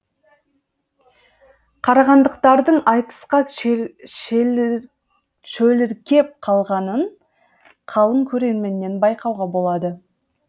қарағандылықтардың айтысқа шөліркеп қалғанын қалың көрерменнен байқауға болады